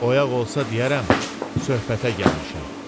Oyaq olsa deyərəm söhbətə gəlmişəm.